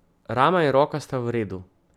Rama in roka sta v redu.